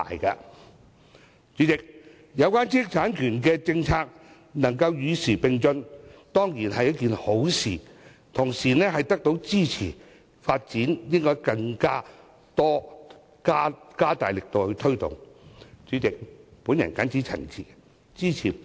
代理主席，有關知識產權的政策能夠與時並進，當然是一件好事，同時，得到業界支持，政府更應加大力度推動其發展。